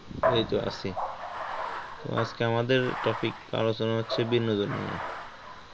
এইতো আছি, আজকে আমাদের topic আলোচনা হচ্ছে বিনোদন নিয়ে,